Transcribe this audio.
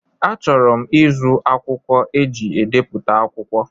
Achọrọ m ịzụ akwụkwọ eji ebipụta akwụkwọ.